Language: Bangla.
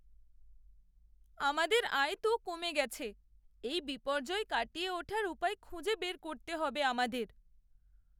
আমাদের আয় তো কমে গেছে! এই বিপর্যয় কাটিয়ে ওঠার উপায় খুঁজে বের করতে হবে আমাদের।